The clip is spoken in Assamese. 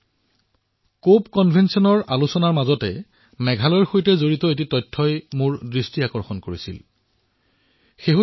কপ 13 কনভেনশ্যন ৰ ওপৰত হোৱা চৰ্চাৰ পৰিপ্ৰেক্ষিতত মই মেঘালয়ৰ সৈতে জড়িত এক গুৰুত্বপূৰ্ণ তথ্য আপোনালোকক জনাব বিচাৰিছো